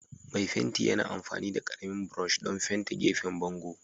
Mai fenti yana amfani da ƙaramin brush don fente gefen bango.